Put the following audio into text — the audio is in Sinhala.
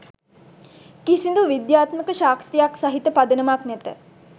කිසිදු විද්‍යාත්මක සාක්ෂියක් සහිත පදනමක් නැත